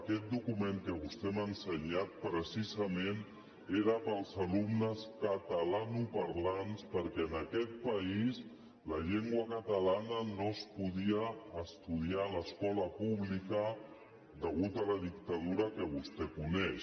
aquest document que vostè m’ha ensenyat precisament era per als alumnes catalanoparlants perquè en aquest país la llengua catalana no es podia estudiar a l’escola pública a causa de la dictadura que vostè coneix